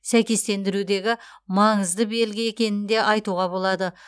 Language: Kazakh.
сәйкестендірудегі маңызды белгі екенін де айтуға болады